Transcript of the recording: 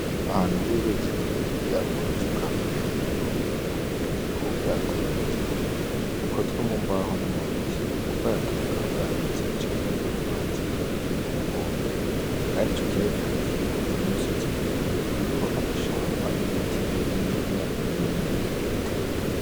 Ahantu hari uruzi runiniya ugworuzi rukabagwegeranye n'inkombe iyo nkombe ikaba iriko ubwatsi burenze bumwe bukozwe mu mbaho no mubiti, ubwato bukaba burambitse igice kimwe kiri mu mazi ikindi kiri kunkombe kandi ico kiyaga kikaba gikikijwe n’umusozi muremure uriko amashamba ibiti bininiya n'ibindi bitegwa.